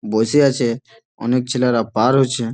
বসে আছে অনেক ছেলেরা পার হচ্ছে।